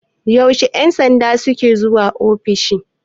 yaushe 'yansanda suke zuwa ofis?